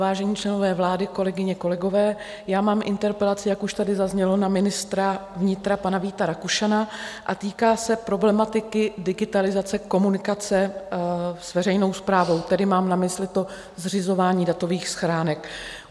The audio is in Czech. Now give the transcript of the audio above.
Vážení členové vlády, kolegyně, kolegové, já mám interpelaci, jak už tady zaznělo, na ministra vnitra pana Víta Rakušana a týká se problematiky digitalizace, komunikace s veřejnou správou, tedy mám na mysli to zřizování datových schránek.